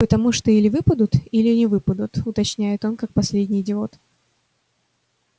потому что или выпадут или не выпадут уточняет он как последний идиот